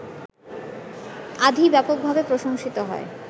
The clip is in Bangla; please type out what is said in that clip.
আঁধি ব্যাপকভাবে প্রশংসিত হয়